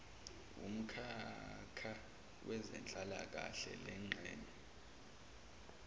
wumkhakha wezenhlalakahle lengxenye